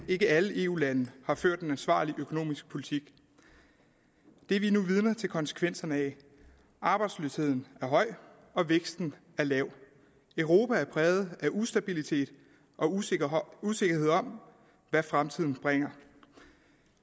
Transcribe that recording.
ikke alle eu lande har ført en ansvarlig økonomisk politik det er vi nu vidner til konsekvenserne af arbejdsløsheden er høj og væksten er lav europa er præget af ustabilitet og usikkerhed usikkerhed om hvad fremtiden bringer